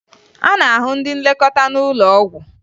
A na-ahụ ndị nlekọta n'ụlọ ọgwụ